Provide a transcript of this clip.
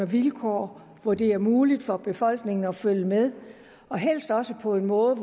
vilkår hvor det er muligt for befolkningen at følge med og helst også på en måde